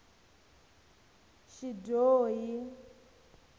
xidyohi